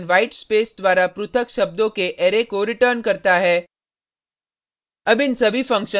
qw function white space द्वारा पृथक शब्दों के अरै को रिटर्न करता है